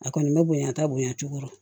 A kɔni bɛ bonya ka bonya cogo dɔ